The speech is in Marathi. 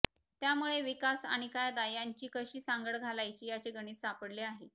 त्यामुळे विकास आणि कायदा यांची कशी सांगड घालायची याचे गणित सापडले आहे